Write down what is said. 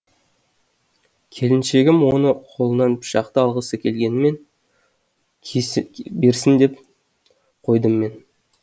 келіншегім оның қолынан пышақты алғысы келгенімен кесе берсін деп қойдым мен